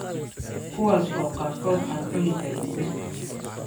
kuwaas oo qaarkood aan cuni karin dhirta.